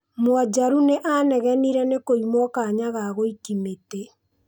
Mwonjaru nĩanegenire nĩ kũimwo kanya ga gũiki mĩtĩ.